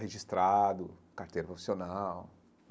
Registrado, carteira profissional.